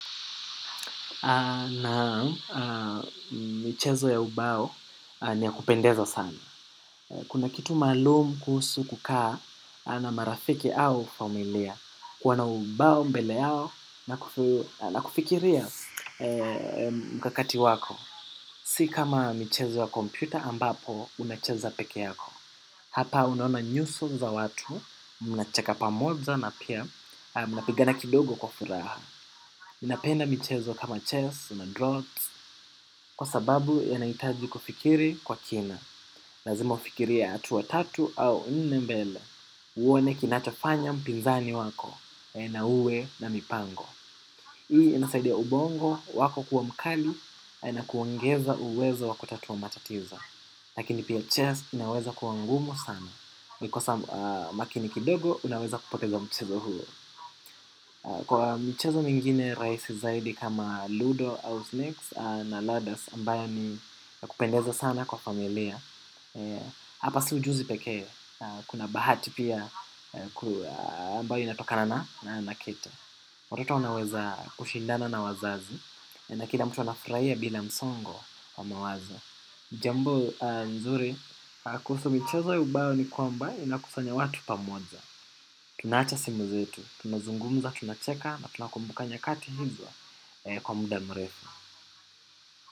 Naam michezo ya ubao niya kupendeza sana. Kuna kitu maalum kuhusu kukaa na marafiki au familia. Kuwa na ubao mbele na kufikiria mkakati wako. Si kama michezo ya kompyuta ambapo unacheza pekee yako. Hapa unaona nyuso za watu, mnacheka pamoja na pia mnapigana kidogo kwa furaha ninapenda michezo kama chess kuna droughts kwa sababu yanahitaji kufikiri kwa kina lazima ufikirie hatua tatu au nnembele. Uone kinachofanya mpinzani wako na uwe na mipango. Hii inasaidia ubongo wako kuwa mkali na kuongeza uwezo waku tatua matatizo. Lakini pia chess inaweza kuwangumu sana ukikosa makini kidogo unaweza kupoteza mchezo huo. Kwa michezo mingine rahisi zaidi kama Ludo, Ausnakes na Ladders ambayo niya kupendeza sana kwa familia. Hapa si ujuzi pekee, kuna bahati pia ambayo inatokana na nakete. Watoto wanaweza kushindana na wazazi, na kila mtu wanafurahia bila msongo wa mawazo jambo nzuri, kuhusu michezo ubao ni kwamba inakusanya watu pamoja. Tunaacha simu zetu, tunazungumza, tunacheka na tunakumbuka nyakati hizo kwa muda mrefu.